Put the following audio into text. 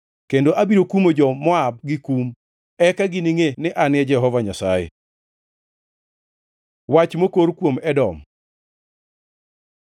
kendo abiro kumo jo-Moab gi kum. Eka giningʼe ni An e Jehova Nyasaye.’ ” Wach mokor kuom Edom